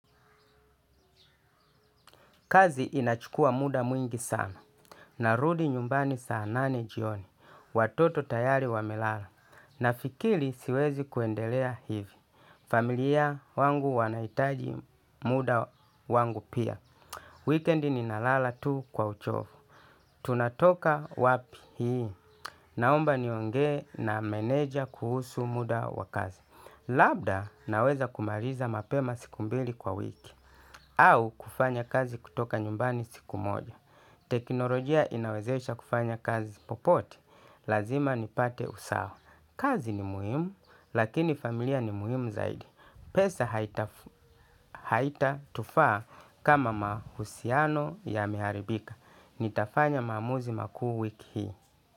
Kazi inachukuwa muda mwingi sana. Narudi nyumbani saa nane jioni. Watoto tayari wamelala. Nafikiri siwezi kuendelea hivi. Familia wangu wanaitaji muda wangu pia. Wikendi ninalala tu kwa uchovu. Tunatoka wapi hii. Naomba niongee na meneja kuhusu muda wa kazi. Labda naweza kumaliza mapema siku mbili kwa wiki. Au kufanya kazi kutoka nyumbani siku moja. Teknolojia inawezesha kufanya kazi popote. Lazima nipate usawa, kazi ni muhimu lakini familia ni muhimu zaidi. Pesa haitatufaa kama mahusiano yameharibika. Nitafanya maamuzi makuu wiki hii.